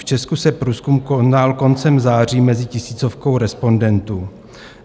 V Česku se průzkum konal koncem září mezi tisícovkou respondentů.